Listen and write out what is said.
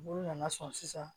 Olu nana sɔn sisan